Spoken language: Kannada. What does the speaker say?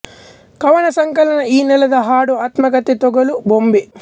ಕವನ ಸಂಕಲನ ಈ ನೆಲದ ಹಾಡು ಆತ್ಮಕಥೆ ತೊಗಲು ಬೊಂಬೆ